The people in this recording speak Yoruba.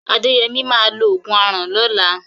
Adéyẹmí máa lo ògùn aràn lọ́la.